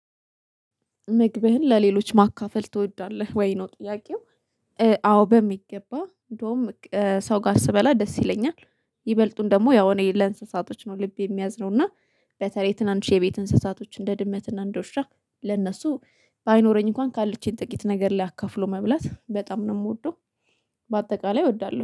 ምግብህን ለሌሎች ማካፈል ትወዳለህ ወይ ነው ጥያቄው? አዎ በሚገባ እንደውም ሰው ጋር ስበላ ደስ ይለኛል። ይበልጡን ደግሞ ያው እኔ ለእንስሳቶች ነው ልቤ የሚያዝነው እና በተለይ ትናንሽ የቤት እንስሳቶች እንደ ድመት እንደ ዉሻ ለነሱ ባይኖረኝ እንኳን ካለችኝ ጥቂት ነገር ላይ አካፍሎ መብላት በጣም ነው የምወደው። በአጠቃላይ እወዳለሁ